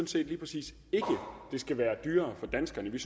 det skal være dyrere for danskerne